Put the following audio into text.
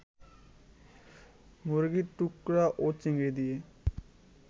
মুরগির টুকরা ও চিংড়ি দিয়ে